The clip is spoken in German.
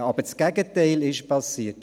Aber das Gegenteil ist passiert: